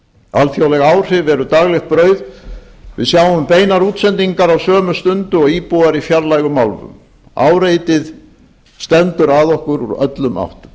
alþjóðleg áhrif eru daglegt brauð við sjáum beinar útsendingar á sömu stundu og íbúar í fjarlægum álfum áreitið stendur að okkur úr öllum áttum